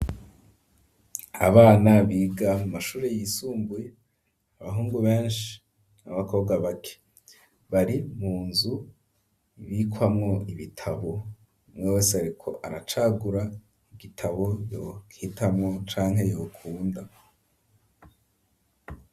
Abana biga mu mashuri yisumbuye abahungu beshi n'abakobwa bake bari mu nzu ibikwamwo ibitabo umwe wese ariko aracagura igitabo yohitamwo canke yokunda.